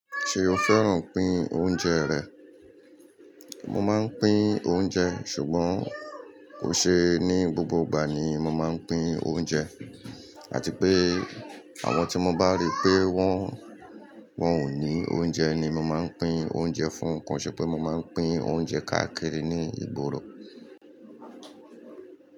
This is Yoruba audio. Ṣe o fẹ́ràn pín oúnjẹ rẹ̀? Mo máa ń pín oúnjẹ ṣùgbọ́n kò ṣe ní gbogbo ìgbà ni mo máa ń pín oúnjẹ, àti pé àwọn tí mo bá rí pé wọ́n, wọn ò ní oúnjẹ ni mo máa ń pín oúnjẹ fún kọ n, ṣèpè mo máa ń pín oúnjẹ káàkiri ní ìgboro.